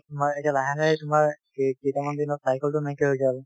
তাৰ পিছত তোমাৰ এতিয়া লাহে লাহে তোমাৰ কেইটামান দিনত চাইকেল টো নাইকিয়া হৈ